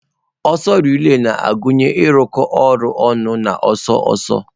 Ọsọ relai na-agụnye ịrụkọ ọrụ ọnụ na ọsọ ọsọ.